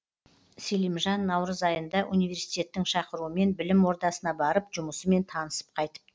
селимжан наурыз айында университеттің шақыруымен білім ордасына барып жұмысымен танысып қайтыпты